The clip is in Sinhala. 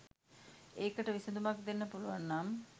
ඒකට විසඳුමක් දෙන්න පුළුවන් නම්